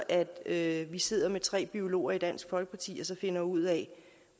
at vi sidder med tre biologer i dansk folkeparti og finder ud af